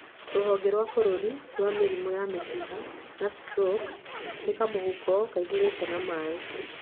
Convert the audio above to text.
Rũhonge rwa bũrũri rwa mĩrimũ ya mĩkiha na stroko. Nĩ kamũhuko kaihũrĩte na maĩ.